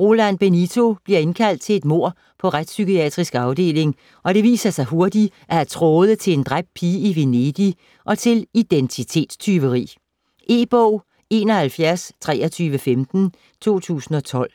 Roland Benito bliver tilkaldt til et mord på Retspsykiatrisk Afdeling, og det viser sig hurtigt at have tråde til en dræbt pige i Venedig og til identitetstyveri. E-bog 712315 2012.